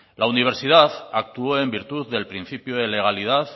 la universidad actuó en virtud del principio de legalidad